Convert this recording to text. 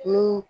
Ni